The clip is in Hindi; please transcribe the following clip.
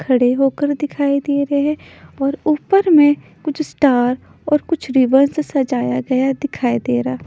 खड़े होकर दिखाई दे रहे हैं और ऊपर में कुछ स्टार और कुछ रिवर से सजाया गया दिखाई दे रहा है।